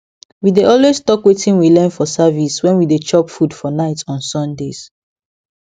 we dey always talk wetin we learn for service when we dey chop food for night on sundays